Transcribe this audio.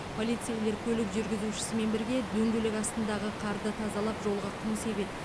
полицейлер көлік жүргізушісімен бірге дөңгелек астындағы қарды тазалап жолға құм себеді